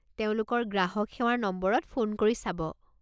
তেওঁলোকৰ গ্ৰাহক সেৱাৰ নম্বৰত ফোন কৰি চাব।